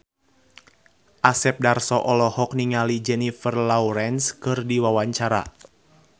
Asep Darso olohok ningali Jennifer Lawrence keur diwawancara